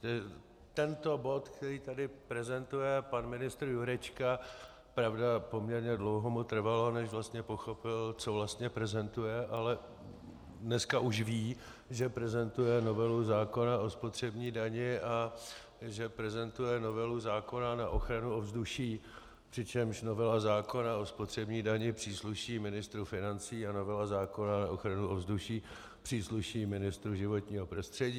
Tento bod, který tady prezentuje pan ministr Jurečka - pravda, poměrně dlouho mu trvalo, než vlastně pochopil, co vlastně prezentuje, ale dneska už ví, že prezentuje novelu zákona o spotřební dani a že prezentuje novelu zákona na ochranu ovzduší, přičemž novela zákona o spotřební dani přísluší ministru financí a novela zákona na ochranu ovzduší přísluší ministru životního prostředí.